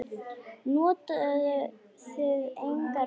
Notuðuð þið engar verjur?